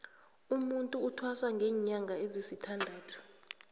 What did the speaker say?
umutu uthwasa linyanga ezisithandathu